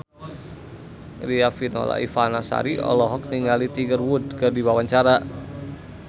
Riafinola Ifani Sari olohok ningali Tiger Wood keur diwawancara